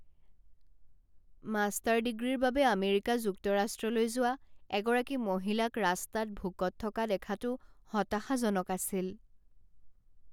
Master ডিগ্ৰীৰ বাবে America যুক্তৰাষ্ট্ৰলৈ যোৱা এগৰাকী মহিলাক ৰাস্তাত ভোকত থকা দেখাটো হতাশাজনক আছিল।